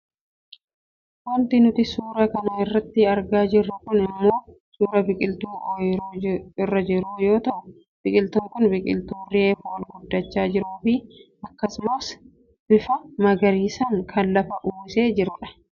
Wanti nuti suuraa kana irratti argaa jirru kun ammoo suuraa biqiltuu ooyiruu irra jiruu yoo ta'u, biqiltuun kun biqiltuu reefu ol guddachaa jiruufi akkasumas bifa magariisaan kan lafa uwwisee jirudha.